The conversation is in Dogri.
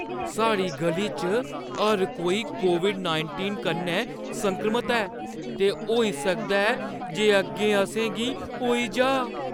साढ़ी ग'ली च हर कोई कोविड-नाईटींन कन्नै संक्रमत ऐ ते होई सकदा ऐ जे अग्गें असें गी होई जाऽ।